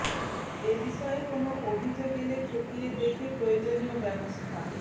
এ বিষয়ে কোন অভিযোগ এলে খতিয়ে দেখে প্রয়োজনীয় ব্যবস্থা